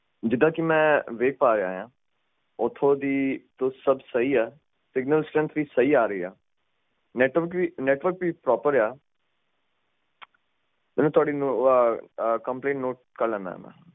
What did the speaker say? ਜਿੱਦਾਂ ਕਿ ਮੈਂ ਵੇਖ ਪਾ ਰਿਹਾ ਆ ਓਥੋਂ ਦੀ ਤਾ ਸਬ ਸਹੀ ਆ ਸਿਗਨਲ ਸਟਰੈਨਥ ਵੀ ਸਹੀ ਆ ਰਹੀ ਆ ਨੈੱਟਵਰਕ ਵੀ ਪ੍ਰੋਪਰ ਆ ਮੈਂ ਤੁਹਾਡੀ ਆਹ ਕੰਪਲੇਂਟ ਨੋਟ ਕਰ ਲੈਣਾ ਆ